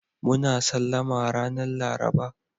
Muna Sallama ranan Laraba.